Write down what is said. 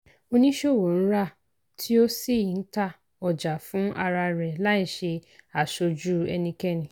oníṣòwò ń rà tí ó sì ń tà ọjà fún ara rẹ̀ láìṣe aṣojú ẹnikẹ́ni.